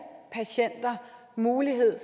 patienter mulighed